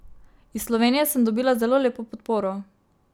Iz Slovenije sem dobila zelo lepo podporo.